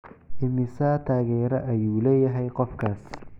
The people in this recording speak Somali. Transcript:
Immisa taageere ayuu leeyahay qofkaas?